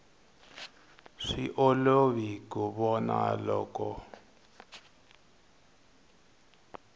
swi olovi ku vona loko